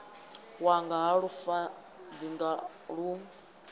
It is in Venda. wanga ha lufaṱinga a lu